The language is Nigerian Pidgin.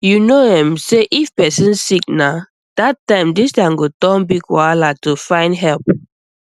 you know um say if person sick na that time distance go turn big wahala to find help um